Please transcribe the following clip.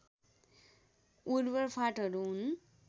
उर्वर फाँटहरू हुन्